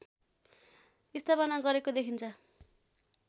स्थापना गरेको देखिन्छ